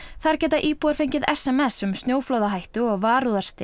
þar geta íbúar fengið s m s um snjóflóðahættu og